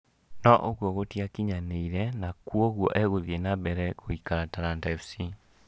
No ũgũo gũtiakinyanĩire na kuoguo egũthie na mbere gũikara Talanta FC